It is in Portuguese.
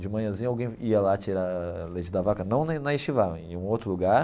De manhãzinha alguém ia lá tirar o leite da vaca, não na na, em um outro lugar.